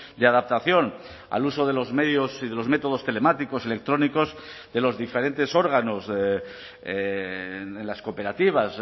de adaptación al uso de los medios y de los métodos telemáticos electrónicos de los diferentes órganos en las cooperativas